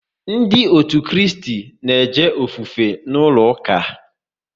Ndị otu Kristi na eje ofufe n'ụlọ ụka